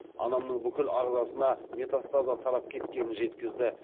анамның бүкіл ағзасына метастаза тарап кеткенін жеткізді